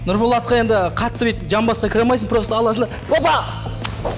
нұрболатқа енді қатты битіп жамбасқа кіре алмайсын просто аласын да опа